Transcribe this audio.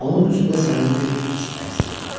Onun üzündə səmimi bir hiss əks etdi.